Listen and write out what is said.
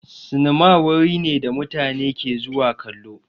Sinima wuri ne da mutane ke zuwa kallo.